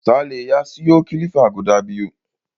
Sale ya siyo kilifa guda biyu.